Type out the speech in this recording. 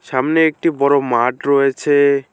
সামনে একটি বড়ো মাঠ রয়েছে।